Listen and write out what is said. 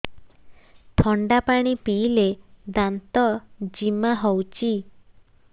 ଥଣ୍ଡା ପାଣି ପିଇଲେ ଦାନ୍ତ ଜିମା ହଉଚି